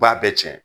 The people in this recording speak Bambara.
B'a bɛɛ cɛn